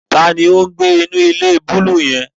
Tani o ngbe inu ile buluu yẹn?